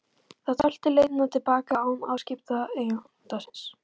Það tölti leiðina til baka án afskipta eiganda síns.